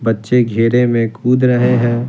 बच्चे घेरे में कूद रहे हैं।